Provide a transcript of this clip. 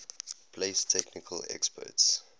place technical experts